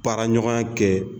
Baaraɲɔgɔnya kɛ